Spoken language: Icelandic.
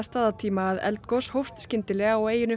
staðartíma að eldgos hófst skyndilega á eyjunni